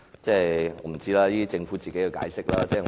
我不知道，那是政府的解釋。